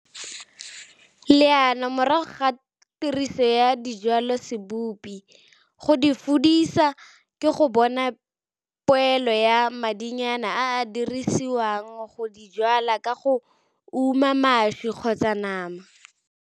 Leano morago ga tiriso ya dijwalosebipo go di fudisa ke go bona poelo ya madinyana a a dirisiwang go di jwala ka go uma mašwi kgotsa nama.